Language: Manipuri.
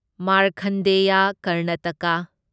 ꯃꯥꯔꯈꯟꯗꯦꯌꯥ ꯀꯔꯅꯥꯇꯀꯥ